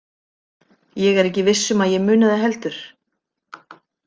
Ég er ekki viss um að ég muni það heldur.